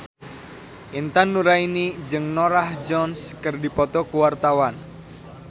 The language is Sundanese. Intan Nuraini jeung Norah Jones keur dipoto ku wartawan